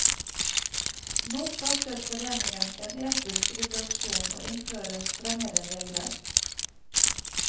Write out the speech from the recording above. Nå starter foreningen en etisk ryddeaksjon og innfører strengere regler.